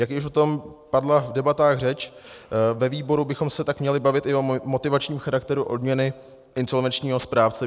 Jak již o tom padla v debatách řeč, ve výboru bychom se tak měli bavit i o motivačním charakteru odměny insolvenčního správce.